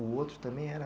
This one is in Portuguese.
O outro também era